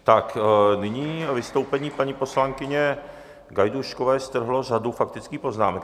Tak nyní vystoupení paní poslankyně Gajdůškové strhlo řadu faktických poznámek.